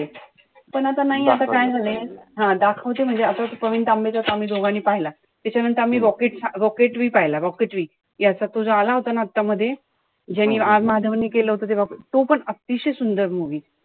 पण आता नाई आता काय झालंय, हा दाखवते म्हणजे तो प्रवीण तांबेचा आम्ही दोघांनी पहिला. त्याच्यानंतर आम्ही rocket rocketary पाहिला, rocketary. याचा तो जो आला होता ना आता मध्ये. ज्यांनी R माधवन नि केलं होत, तो पण अतिशय सुंदर movie.